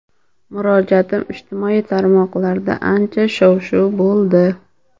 Murojaatim ijtimoiy tarmoqlarda ancha shov-shuv bo‘ldi.